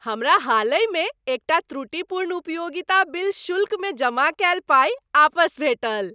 हमरा हालहि मे एकटा त्रुटिपूर्ण उपयोगिता बिल शुल्कमे जमा कयल पाइ आपस भेटल।